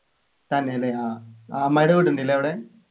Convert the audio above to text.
തന്നെല്ലേ ആഹ് അമ്മായിടെ വീട്ണ്ട് ല്ലേ അവിടെ